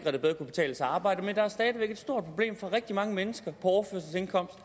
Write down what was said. at det bedre kunne betale sig at arbejde men der er stadig væk et stort problem for rigtig mange mennesker på overførselsindkomst